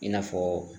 I n'a fɔ